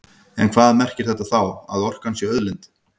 En hvað merkir þetta þá, að orkan sé auðlind?